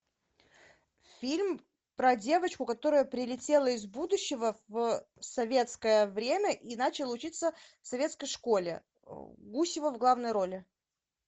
фильм про девочку которая прилетела из будущего в советское время и начала учиться в советской школе гусева в главной роли